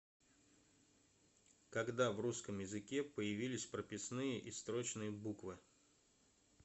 когда в русском языке появились прописные и строчные буквы